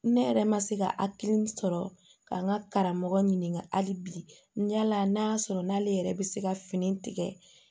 Ne yɛrɛ ma se ka hakili sɔrɔ ka n ka karamɔgɔ ɲininka hali bi yala n'a y'a sɔrɔ n'ale yɛrɛ bɛ se ka fini tigɛ